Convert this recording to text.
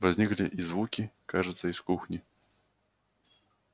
возникли и звуки кажется из кухни